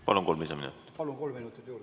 Palun kolm minutit juurde.